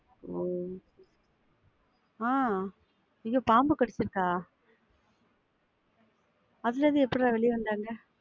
ஒ ஆஹ் ஐயோ பாம்பு கடிச்சிருக்கா? அதிலிருந்து எப்படிடா வெளில வந்தாங்க?